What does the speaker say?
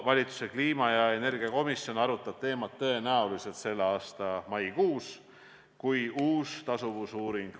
Valitsuse kliima- ja energiakomisjon arutab seda teemat tõenäoliselt selle aasta maikuus, kui valmib uus tasuvusuuring.